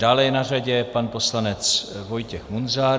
Dále je na řadě pan poslanec Vojtěch Munzar.